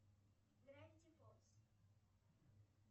гравити фолз